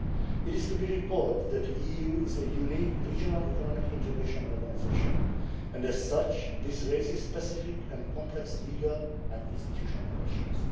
It is to be recalled that the EU is a unique regional economic integration organisation and, as such, this raises specific and complex legal and institutional questions.